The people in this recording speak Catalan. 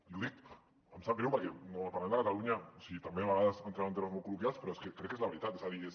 i ho dic em sap greu perquè al parlament de catalunya també a vegades entrem en termes molt col·loquials però és que crec que és la veritat és a dir és